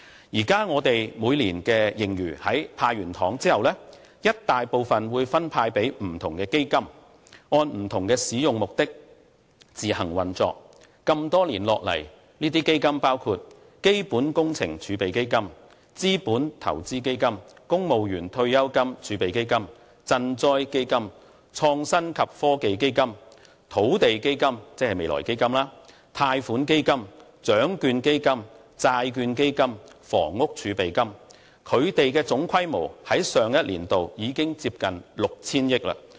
現在我們每年的盈餘在"派糖"後，一大部分會分派予不同基金，按不同使用目的自行運作，這麼多年下來，這些基金包括：基本工程儲備基金、資本投資基金、公務員退休金儲備基金、賑災基金、創新及科技基金、土地基金、貸款基金、獎券基金、債券基金及房屋儲備金，它們的總規模於上一年度已接近 6,000 億元。